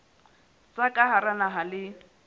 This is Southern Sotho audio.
tsa ka hara naha le